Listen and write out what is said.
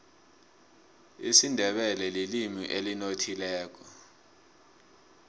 isindebele lilimi elinothileko